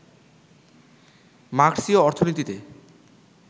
মার্ক্সীয় অর্থনীতিতে